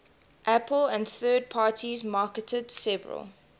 apple and third parties marketed several